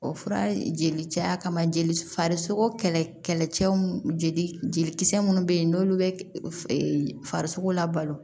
O fura jeli caya kama jeli farisoko kɛlɛ cɛw jeli jeli munnu be yen n'olu be farisogo la balo